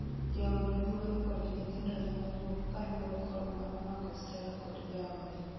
Jaod yuore kod nyithindo nenowuok kalure kod manomako Stella kod jaode.